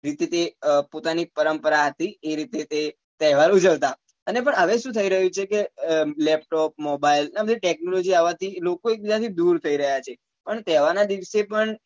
રીતી થી પોતાની પરંપરા હતી એ રીતી થી તહેવાર ઉજવતા અને પણ હવે શું થઇ રહ્યું છે કે અ laptop mobile આ બધી technology આવા થી લોકો એક બીજા થી દુર થઇ રહ્યા છે અને તહેવાર ના દિવસે પણ